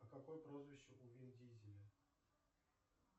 а какое прозвище у вин дизеля